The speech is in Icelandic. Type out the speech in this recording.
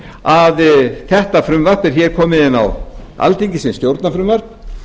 að þetta frumvarp er hér komið inn á alþingi sem stjórnarfrumvarp